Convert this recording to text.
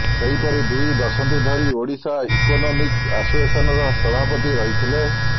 ସେହିପରି ଦୁଇ ଦଶନ୍ଧି ଧରି ଓଡ଼ିଶା ଇକୋନୋମିକ୍ ଆସୋସିଏସନ୍ର ସଭାପତି ରହିଥିଲେ